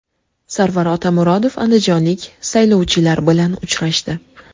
Sarvar Otamuratov andijonlik saylovchilar bilan uchrashdi.